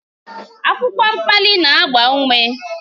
Akwụkwọ mkpali na-agba ume.